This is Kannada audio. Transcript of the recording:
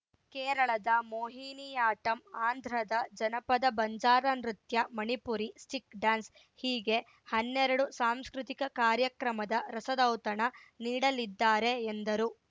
ಕೇರಳದ ಮೋಹಿನಿಯಾಟ್ಟಂ ಆಂಧ್ರದ ಜನಪದ ಬಂಜಾರ ನೃತ್ಯ ಮಣಿಪುರಿ ಸ್ಟಿಕ್‌ ಡ್ಯಾನ್ಸ್‌ ಹೀಗೆ ಹನ್ನೆರಡು ಸಾಂಸ್ಕೃತಿಕ ಕಾರ್ಯಕ್ರಮದ ರಸದೌತಣ ನೀಡಲಿದ್ದಾರೆ ಎಂದರು